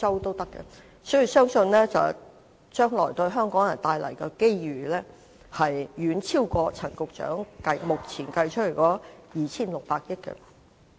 所以，我相信將來對香港人帶來的機遇會遠超過陳局長目前計算的 2,600 億元。